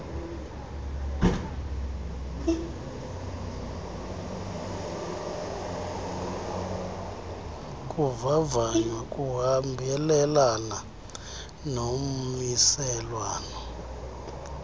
kuvavanywa kuhambelana nommiselwana